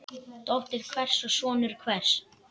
Dóttir hvers og sonur hvers.